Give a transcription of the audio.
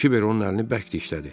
Kibər onun əlini bərk dişlədi.